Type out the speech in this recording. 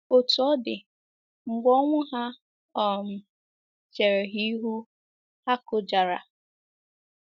Otú ọ dị, mgbe ọnwụ ha um chere ha ihu, ha kụjara.